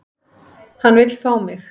Hann vill fá mig.